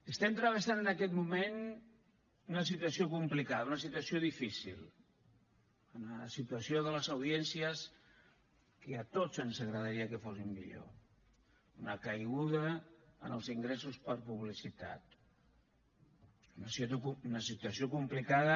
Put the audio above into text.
estem travessant en aquest moment una situació complicada una situació difícil una situació de les audiències que a tots ens agradaria que fos millor una caiguda en els ingressos per publicitat una situació complicada